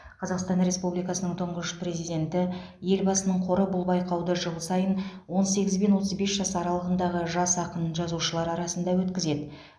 қазақстан республикасының тұңғыш президенті елбасының қоры бұл байқауды жыл сайын он сегіз бен отыз бес жас аралығындағы жас ақын жазушылар арасында өткізеді